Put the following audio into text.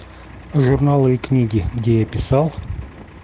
журналы и книги где я писал